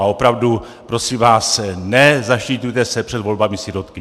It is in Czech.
A opravdu prosím vás, nezaštiťujte se před volbami sirotky.